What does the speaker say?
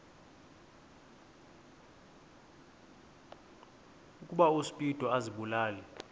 ukuba uspido azibulale